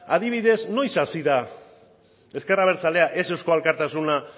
adibidez noiz hasi da ezker abertzalea ez euzko alkartasuna